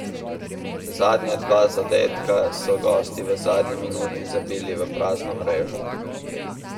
Zadnja dva zadetka so gosti v zadnji minuti zabili v prazno mrežo.